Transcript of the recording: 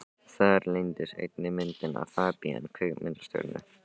Þar leyndist einnig myndin af FABÍAN kvikmyndastjörnu.